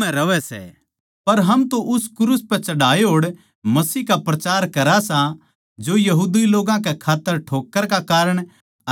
पर हम तो उस क्रूस पै चढ़ाए होड़ मसीह का प्रचार करा सां जो यहूदी लोग्गां कै खात्तर ठोक्कर का कारण